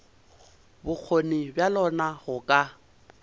bokgoni bja lona go ka